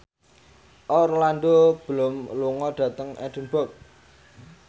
Orlando Bloom lunga dhateng Edinburgh